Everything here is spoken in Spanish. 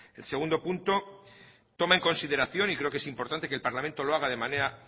el segundo punto toma en consideración y creo que es importante que el parlamento lo haga de manera